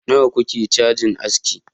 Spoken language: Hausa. nawa kuke cajin aski